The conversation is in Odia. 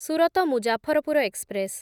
ସୁରତ ମୁଜାଫରପୁର ଏକ୍ସପ୍ରେସ୍‌